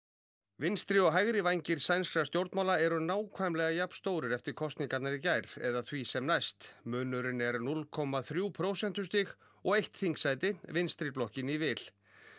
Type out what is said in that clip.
vinstri og hægri vængir sænskra stjórnmála eru nákvæmlega jafnstórir eftir kosningarnar í gær eða því sem næst munurinn er núll komma þrjú prósentustig og eitt þingsæti vinstri blokkinni í vil